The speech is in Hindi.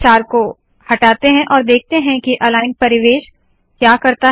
स्टार को हटाते है और देखते है के अलाइन्ड परिवेश क्या करता है